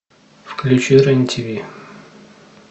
включи рен тв